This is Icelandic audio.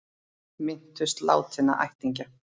Minntust látinna ættingja